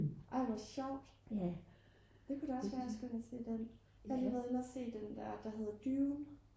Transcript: ej hvor sjovt det kunne da også være jeg skulle ind at se den jeg har lige været inde at se den der der heddder Dune